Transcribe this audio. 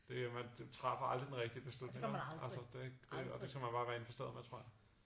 Det jo man du træffer aldrig den rigtige beslutning vel altså det det og det skal man bare være indforstået med tror jeg